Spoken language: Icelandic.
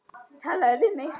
Talaðu við mig!